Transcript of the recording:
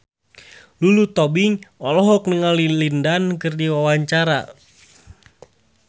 Lulu Tobing olohok ningali Lin Dan keur diwawancara